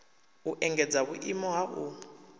u engedza vhuimo ha u